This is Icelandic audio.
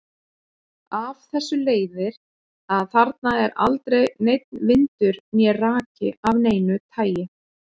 Af þessu leiðir að þarna er aldrei neinn vindur né raki af neinu tagi.